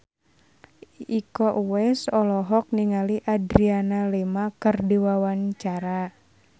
Iko Uwais olohok ningali Adriana Lima keur diwawancara